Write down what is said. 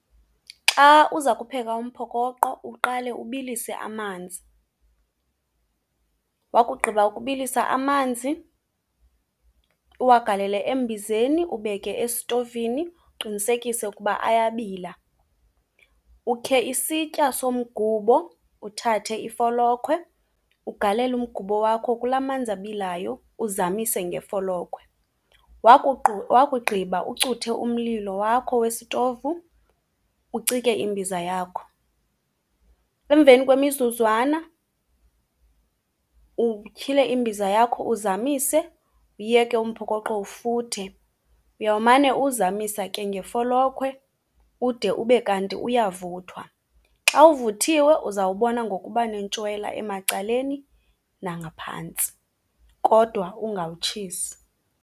Xa uza kupheka umphokoqo uqale ubilise amanzi. Wakugqiba ukubilisa amanzi uwagalele embizeni, ubeke esitovini, uqinisekise ukuba ayabila. Ukhe isitya somgubo, uthathe ifolokhwe, ugalele umgubo wakho kulaa manzi abilayo uzamise ngefolokhwe. Wakugqiba ucuthe umlilo wakho wesitovu, ucike imbiza yakho. Emveni kwemizuzwana utyhile imbiza yakho uzamise, uyeke umphokoqo ufuthe. Uyawumane uwuzamisa ke ngefolokhwe ude ube kanti uyavuthwa. Xa uvuthiwe uzawubona ngokuba nentshwela emacaleni nangaphantsi kodwa ungawutshisi.